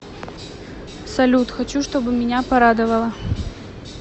салют хочу чтобы меня порадовало